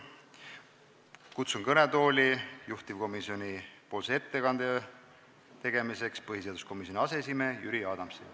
Kutsun juhtivkomisjonipoolse ettekande tegemiseks kõnetooli põhiseaduskomisjoni aseesimehe Jüri Adamsi.